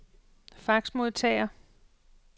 faxmodtager